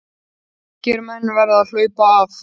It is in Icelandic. Ungir menn verða að HLAUPA AF